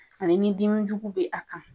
Ani ni dimijugu bɛ a kan